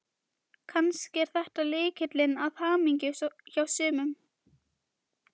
Kannski er þetta lykillinn að hamingjunni hjá sumum.